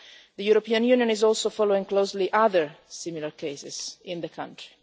The European Union is also following closely other similar cases in the country.